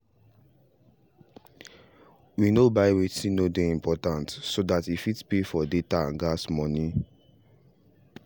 we no buy wetin no dey important so that e fit pay for data and gas money